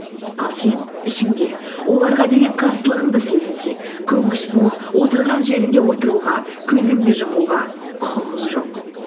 ал сен ішінде оларға деген қарсылығыңды сезінсең көнгіш болып отырған жеріңде отыруға көзіңді жұмуға құқығың жоқ